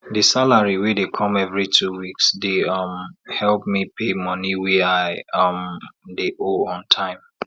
di salary wey dey come every two weeks dey um help me pay money wey i um dey owe on time